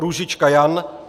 Růžička Jan